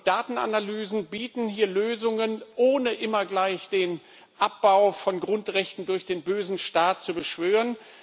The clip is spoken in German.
Datenanalysen bieten hier Lösungen, ohne immer gleich den Abbau von Grundrechten durch den bösen Staat zu beschwören.